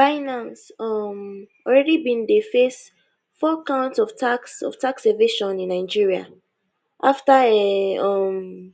binance um already bin dey face four counts of tax of tax evasion in nigeria after a um